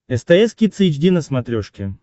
стс кидс эйч ди на смотрешке